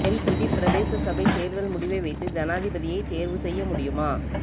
எல்பிட்டி பிரதேச சபைத் தேர்தல் முடிவை வைத்து ஜனாதிபதியை தேர்வு செய்ய முடியுமா